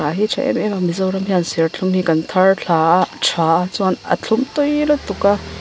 thei tha em em mizoram hian serthlum hi kan thar thla a tha a chuan a thlum tui lutuk a.